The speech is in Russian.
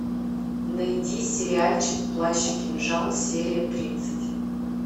найди сериальчик плащ и кинжал серия тридцать